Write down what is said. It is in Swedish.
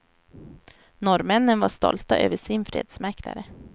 Norrmännen var stolta över sin fredsmäklare.